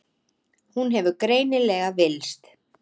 Hún hefur greinilega villst.